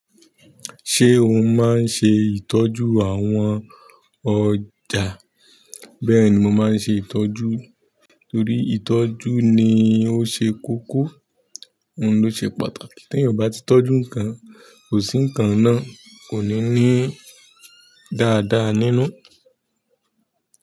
Ṣé o máa ń ṣe ìtọ́jú àwọn ọjà? Bẹ́ẹ̀ni mo máa ń ṣe ìtọ́jú torí ìtọ́jú ni ó ṣe kókó, ló ṣe pàtàkì. Tí ẹ ò bá tí tọ́jú nǹkan kò sí nǹkan náà, kò ní ní dáadáa nínú.